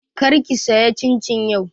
Kar ki saya cincin yau!